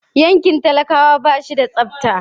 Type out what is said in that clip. Yankin talakawa ba shi da tsabta.